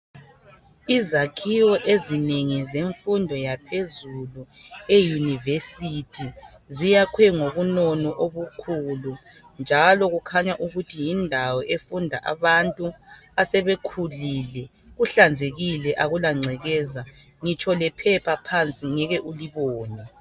Izakhiwo ezinengi zemfundo yaphezulu eUniversity ziyakhwe ngobunono obukhulu njalo kukhanya ukuthi yindawo efunda abantu asebekhulile. Kuhlanzekile akula ngcekeza. Ngitsho lephepha phansi ngeke ulibone.